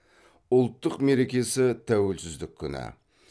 ұлттық мерекесі тәуелсіздік күні